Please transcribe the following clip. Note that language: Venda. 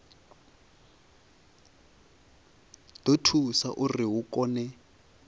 ḓo thusa uri hu kone